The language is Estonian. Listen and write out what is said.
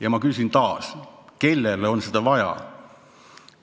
Ja ma küsin taas: kellele on seda vaja?